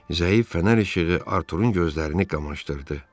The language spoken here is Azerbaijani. Zəif fənər işığı Arturunun gözlərini qamaşdırdı.